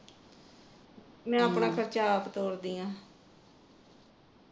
ਮੈ ਆਪਣਾ ਖਰਚਾ ਆਪ ਤੋਰਦੀ ਹਾਂ